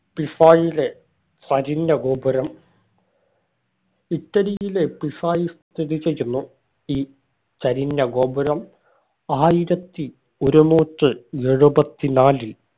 പിസായിലെ ചരിഞ്ഞ ഗോപുരം ഇറ്റലിയിലെ പിസായിൽ സ്ഥിതി ചെയ്യുന്നു ഈ ചരിഞ്ഞ ഗോപുരം ആയിരത്തി ഒരുന്നൂറ്റി എഴുപത്തി നാലിൽ